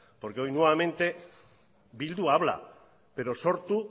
porque hoy nuevamente bildu habla pero sortu